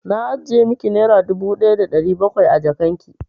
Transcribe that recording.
Na ajiye miki naira dubu ɗaya da ɗari bakwai a jakan ki.